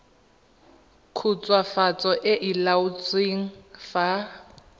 khutswafatso e e laotsweng fa